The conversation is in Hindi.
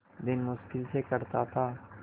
दिन मुश्किल से कटता था